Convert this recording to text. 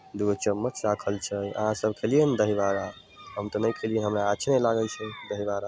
दू गो चम्मच राखल छै अहां सब खेलिये ने दही बड़ा हम ते ने खेलिये हमरा अच्छे ने लागे छै दही बड़ा।